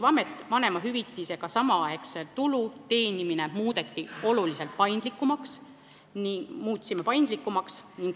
Vanemahüvitisega samaaegse tulu teenimise muutsime oluliselt paindlikumaks.